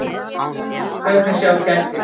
Hvernig sjá kettir?